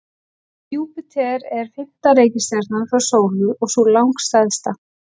Júpíter er fimmta reikistjarnan frá sólu og sú langstærsta.